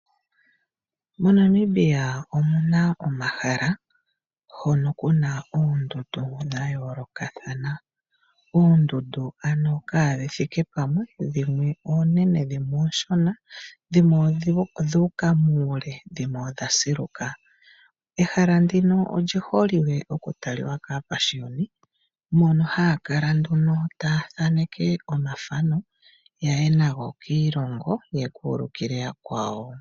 MoNamibia omuna omahala hoka kuna oondundu dhayoolokathana. Oondundu kaadhithike pamwe dhimwe oonene, dhimwe onshona ,dhimwe odhuka muule dhimwe odha siluka, ehala ndika olyiholike okutalwa kaapashiyoni moka haya kala taya thaneke omathano yaye nago kiilongo ye kulukile yakwawo.